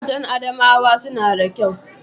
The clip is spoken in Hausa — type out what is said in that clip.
Matan Adamawa suna da kyau